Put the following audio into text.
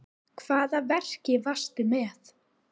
Hvaða verki varstu með?